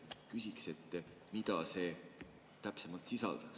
Küsikski, mida see täpsemalt sisaldab.